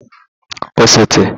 osote